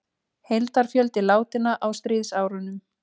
Heildarfjöldi látinna á stríðsárunum